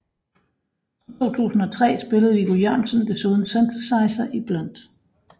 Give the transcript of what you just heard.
Fra 2003 spillede Viggo Jørgensen desuden synthesizer i Blunt